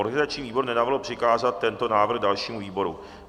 Organizační výbor nenavrhl přikázat tento návrh dalšímu výboru.